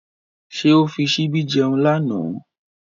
Ṣé ó fi ṣíbí jẹun lánàá?